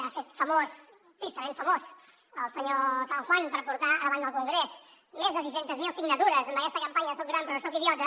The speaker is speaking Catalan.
ha set famós tristament famós el senyor san juan per portar davant del congrés més de sis cents miler signatures amb aquesta campanya soc gran però no soc idiota